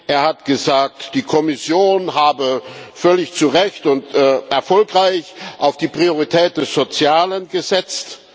Er hat gesagt, die Kommission habe völlig zu Recht und erfolgreich auf die Priorität des Sozialen gesetzt.